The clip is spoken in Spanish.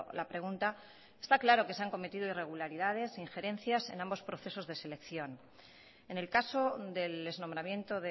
la pregunta está claro que se han cometido irregularidades injerencias en ambos procesos de selección en el caso del nombramiento